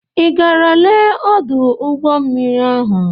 I gara lee ọdụ ụgbọmmiri ahụ?